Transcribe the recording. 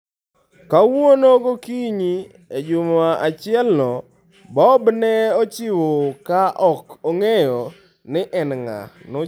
Kawuono gokinyi, e juma achielno, Bob ne ochiewo ka ok ong'eyo ni en ng'a.